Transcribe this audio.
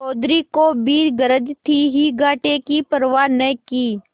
चौधरी को भी गरज थी ही घाटे की परवा न की